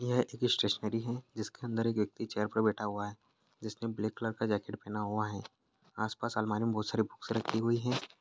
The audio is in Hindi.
यह एक स्टेशनरी हैं जिसके अंदर एक व्यक्ति चेयर पर बैठा हुआ है जिसने ब्लैक कलर का जैकेट पहना हुआ हैं आस पास अलमारी मे बहुत सारी बुक्स रखी हुई हैं।